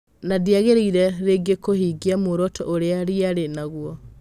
Nandĩagĩrĩire rĩngĩ kũvingia muoroto ũrĩa rĩarĩ naguo?